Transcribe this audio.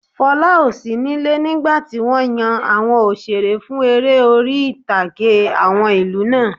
Fola ò sí níle nígbàtí wọ́n yan àwọn òṣeré fún eré orí-ìtàgé àwọn ìlú náà